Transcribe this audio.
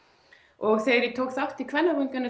og þegar ég tók þátt í